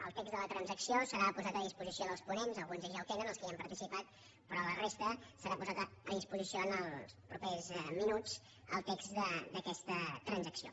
el text de la transacció serà posat a disposició dels ponents alguns d’ells ja ho tenen els que hi han participat però per a la resta serà posat a disposició en els propers minuts el text d’aquesta transacció